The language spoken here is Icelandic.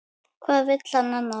Hvað vill hann annað?